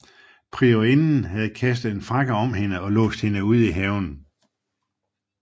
Priorinden havde kastet en frakke om hende og låst hende ud i haven